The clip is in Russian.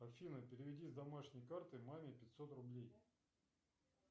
афина переведи с домашней карты маме пятьсот рублей